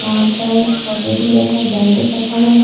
यहां पर चॉकलेटी कलर का ब्लांकेट रखा हुआ है।